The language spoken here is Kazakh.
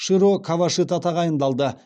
широ кавашита тағайындалды